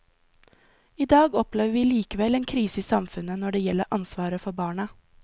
I dag opplever vi likevel en krise i samfunnet når det gjelder ansvaret for barna.